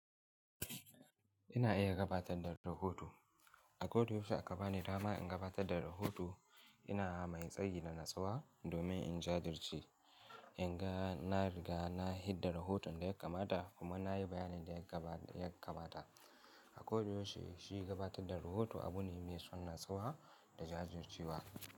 Ina iya gabatar da rahoto. A kodayaushe a gaba ni dama in gabatar da rahoto, ina mai tsayi da natsuwa domin in jajirce. In ga, na riga na yi hidda rahoton da ya kamata kuma na yi bayanin da ya kamata. A kodayaushe shi gabatar da rahoto abu ne mai son natsuwa da jajircewa.